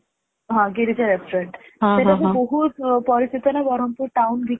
ହଁ ଗିରିଜା Restaurant ସେଟା ବି ବହୁତ ପରିଚିତ ନା ବରମପୁର Town ଭିତରେ